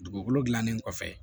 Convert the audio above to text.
Dugukolo gilannen kɔfɛ